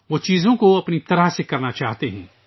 وہ چیزوں کو اپنی طرح کرنا چاہتے ہیں